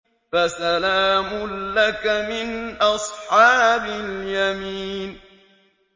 فَسَلَامٌ لَّكَ مِنْ أَصْحَابِ الْيَمِينِ